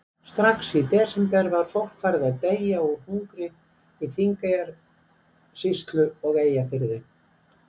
Strax í desember var fólk farið að deyja úr hungri í Þingeyjarsýslu og Eyjafirði.